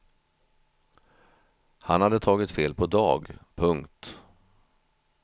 Han hade tagit fel på dag. punkt